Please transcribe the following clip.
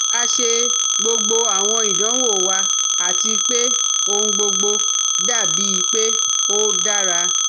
A ṣe gbogbo awọn idanwo wa ati pe ohun gbogbo dabi pe o dara